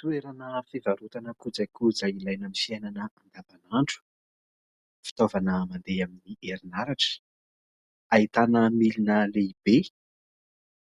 Toerana fivarotana kojakoja ilaina amin' ny fiainana andavanandro. Fitaovana mandeha amin' ny herinaratra ahitana milina lehibe